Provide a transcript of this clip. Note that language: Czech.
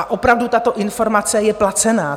A opravdu, tato informace je placená.